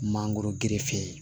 Mangoro gerefe